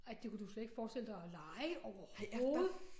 Nej det kunne du slet ikke forestille dig at leje overhovedet